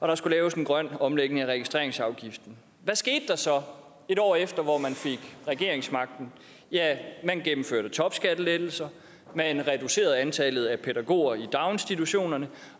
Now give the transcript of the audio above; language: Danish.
der skulle laves en grøn omlægning af registreringsafgiften hvad skete der så et år efter hvor man fik regeringsmagten man gennemførte topskattelettelser man reducerede antallet af pædagoger i daginstitutionerne